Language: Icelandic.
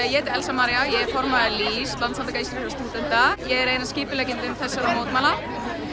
ég heiti Elsa María ég er formaður LÍS Landssamtaka íslenskra stúdenta ég er ein af skipuleggjendum þessara mótmæla